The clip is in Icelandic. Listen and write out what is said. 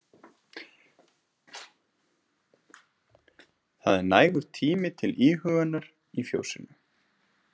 Það er nægur tími til íhugunar í fjósinu.